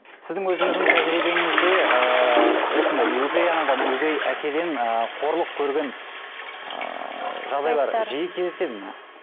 сіздің өзіңіздің тәжірибеңізде ыыы осындай өгей анадан өгей әкеден ы қорлық көрген ыыы жағдайлар жиі кездеседі ме